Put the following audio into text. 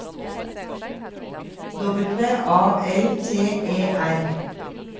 W A L T E R